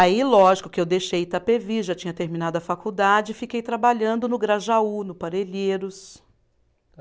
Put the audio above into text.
Aí, lógico, que eu deixei Itapevi, já tinha terminado a faculdade, fiquei trabalhando no Grajaú, no Parelheiros.